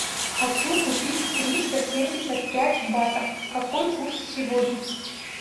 хочу купить триста семьдесят пять батов какой курс сегодня